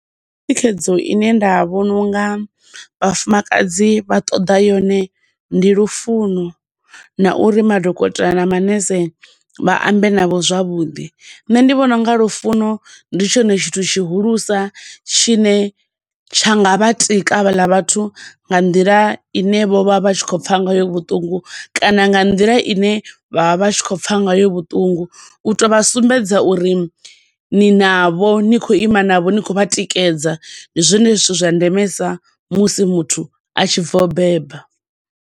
Thikhedzo ine nda vhona unga vhafumakadzi vha ṱoḓa yone ndi lufuno na uri madokotela na manese vha ambe navho zwavhuḓi. Nṋe ndi vhona unga lufuno ndi tshone tshithu tshihulusa tshine tsha nga vha tika havhala vhathu nga nḓila ine vho vha vha tshi khou pfa ngayo vhuṱungu, kana nga nḓila ine vha vha tshi khou pfa ngayo vhuṱungu, u to vha sumbedza uri ni navho, ni khou ima navho, ni khou vha tikedza. Ndi zwone zwithu zwa ndemesa musi muthu a tshibva u beba.